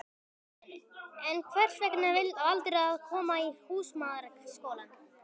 Karen: En hvers vegna valdirðu að koma í Húsmæðraskólann?